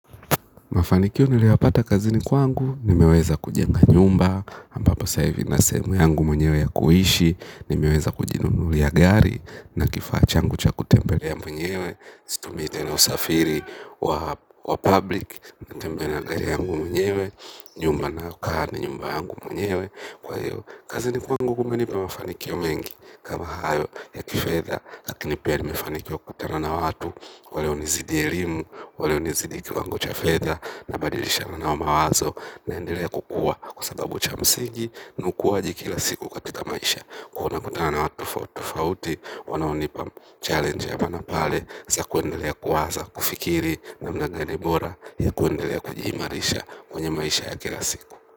Mafanikio niliyapata kazini kwangu, nimeweza kujenga nyumba, ambapo sasa hivi nina sehemu yangu mwenyewe ya kuishi, nimeweza kujinunulia gari, na kifaa changu cha kutembelea mwenyewe, situmii tena usafiri wa wa public natembea na gari yangu mwenyewe nyumba ninayokaa ni nyumba yangu mwenyewe. Kwa hiyo, kazini kwangu kumenipa mafanikio mengi kama hayo ya kifedha. Lakini pia nimefanikiwa kupatana na watu. Wale hunizidi elimu, wale hunizidi kiwango cha fedha. Nabadilishana nao mawazo naendelea kukua. Kwa sababu cha msingi ni ukuwaji kila siku katika maisha. Kuwa napatana na watu tofauti tofauti. Wanaonipa challenge ya maana pale. Si ya kuendelea kuwaza, kufikiri namna gani bora ya kuendelea kujiimarisha kwenye maisha ya kila siku.